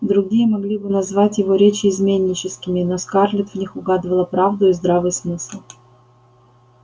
другие могли бы назвать его речи изменническими но скарлетт в них угадывала правду и здравый смысл